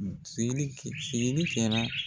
Seli kɛ seli kɛra.